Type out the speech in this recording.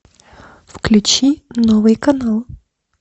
включи новый канал